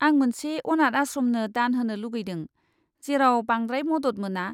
आं मोनसे अनाथ आश्रमनो दान होनो लुगैदों, जेराव बांद्राय मदद मोना।